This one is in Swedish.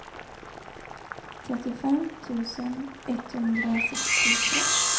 trettiofem tusen etthundrasextiotvå